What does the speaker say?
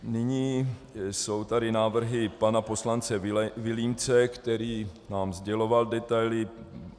Nyní jsou tady návrhy pana poslance Vilímce, který nám sděloval detaily.